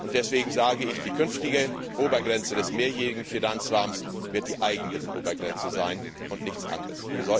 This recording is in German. Deswegen sage ich Die künftige Obergrenze des Mehrjährigen Finanzrahmens wird die Eigenmittelobergrenze sein, und nichts anderes.